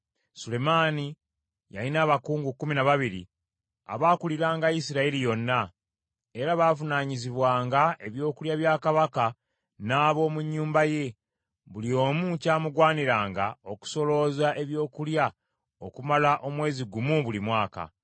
Sulemaani yalina abakungu kkumi na babiri abaakuliranga Isirayiri yonna, era baavunaanyizibwanga ebyokulya bya kabaka n’ab’omu nnyumba ye. Buli omu kyamugwaniranga okusolooza ebyokulya okumala omwezi gumu buli mwaka.